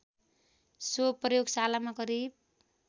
so प्रयोगशालामा करिब